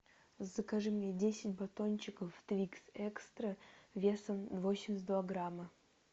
закажи мне десять батончиков твикс экстра весом восемьдесят два грамма